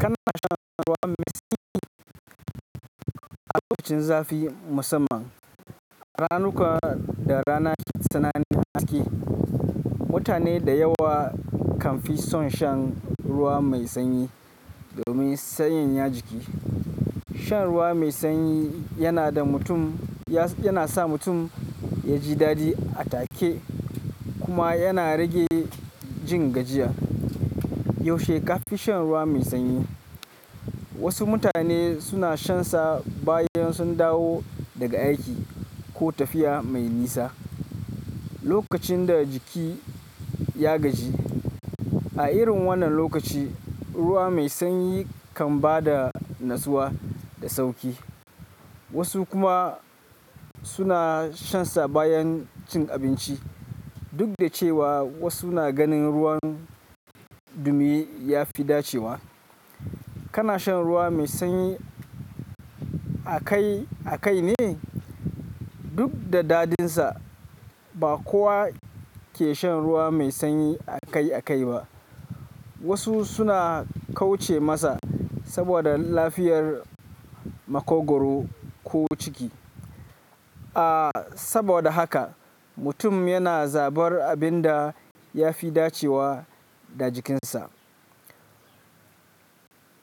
Kana shan ruwa mai sanyi? A lokacin zafi musamman, a ranuka da rana tsanani a haske, mutane da yawa kan fi son shan ruwa mai sanyi domin sanyaya jiki. Shan ruwa mai sanyi yana sa mutum ya ji dadi a take kuma yana rage jin gajiya. Yaushe ka fi shan ruwa mai sanyi? Wasu mutane suna shansa bayan sun dawo daga aiki ko tafiya mai nisa, lokacin da jiki ya gaji. A irin wannan lokaci, ruwa mai sanyi kan ba da natsuwa da sauƙi. Wasu kuma suna shansa bayan cin abinci. Duk da cewa wasu na ganin ruwan dumi ya fi dacewa. Kana shan ruwa mai sanyi akai-akai ne? Duk da dadinsa, ba kowa ke shan ruwa mai sanyi akai-akai ba. Wasu suna kauce masa saboda lafiyar makogwaro ko ciki. A saboda haka, mutum yana zabar abin da ya fi dacewa da jikinsa.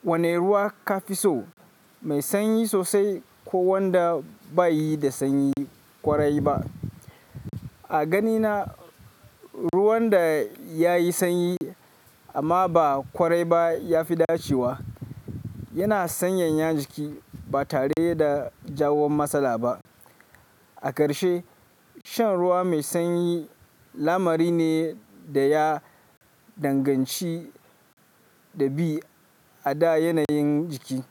Wane ruwa ka fi so, mai sanyi sosai ko wanda baiyi da sanyi kwarai ba? A ganina, ruwan da ya yi sanyi amma ba kwarai ba ya fi dacewa. Yana sanyaya jiki ba tare da jawo matsala ba. A karshe, shan ruwa mai sanyi lamari ne da ya danganci ɗabi'a da yanayin jiki.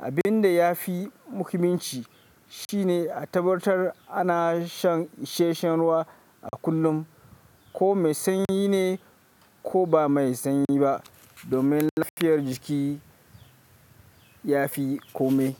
Abin da ya fi muhimmanci shi ne a tabbatar ana shan isashen ruwa a kullum, ko mai sanyi ne ko ba mai sanyi ba, domin lafiyar jiki ya fi kome.